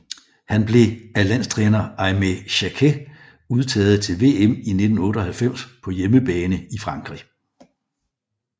Han blev af landstræner Aimé Jacquet udtaget til VM i 1998 på hjemmebane i Frankrig